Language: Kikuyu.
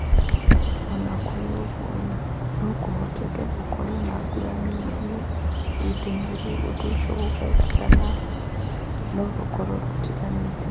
O na kũrĩ ũguo, no kũhoteke gũkorũo na ngũrani nini ihinda-inĩ rĩa ũndũ ũcio ũgekĩka no rĩkorũo rĩtiganĩte.